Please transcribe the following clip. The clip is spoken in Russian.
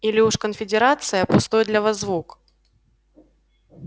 или уж конфедерация пустой для вас звук